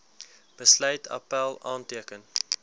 besluit appèl aanteken